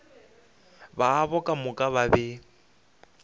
babo ka moka ba be